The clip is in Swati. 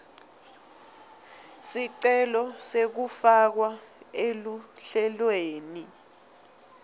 sicelo sekufakwa eluhlelweni